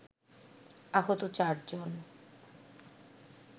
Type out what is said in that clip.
আহত চার জন